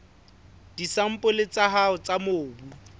disampole tsa hao tsa mobu